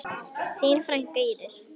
Þín frænka, Íris.